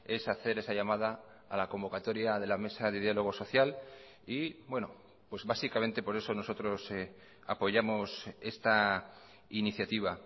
es hacer esa llamada a la convocatoria de la mesa de diálogo social y bueno pues básicamente por eso nosotros apoyamos esta iniciativa